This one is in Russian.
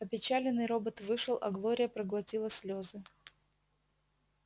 опечаленный робот вышел а глория проглотила слёзы